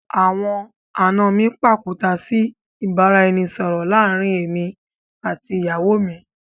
Àwọn àna mi pàkúta sí ìbáraẹnisọọ̀rọ̀ láàrín èmi àti ìyàwó mi